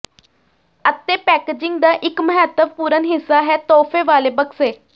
ਅਤੇ ਪੈਕੇਜਿੰਗ ਦਾ ਇੱਕ ਮਹੱਤਵਪੂਰਣ ਹਿੱਸਾ ਹੈ ਤੋਹਫ਼ੇ ਵਾਲੇ ਬਕਸੇ